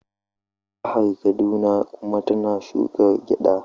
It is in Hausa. Jihar Kaduna kuma tana shuka gyada.